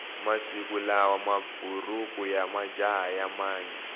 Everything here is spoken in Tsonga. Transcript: masikulawa mabhuruku yamajaha yamanya